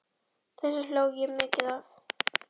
Þessu hló ég mikið að.